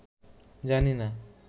জানি না